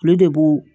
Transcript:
Olu de b'o